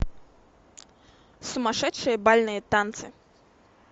сумасшедшие бальные танцы